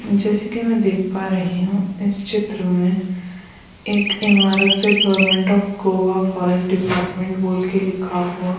जैसे कि मैं देख पा रही हूं इस चित्र में एक इमारत पे government of Goa forest department बोल के लिखा हुआ।